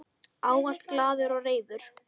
Ávallt glaður og reifur.